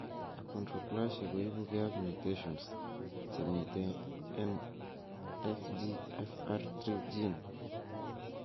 Achondroplasia ko ipuge ag mutations chemiten en FGFR3 gene.